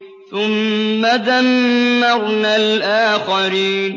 ثُمَّ دَمَّرْنَا الْآخَرِينَ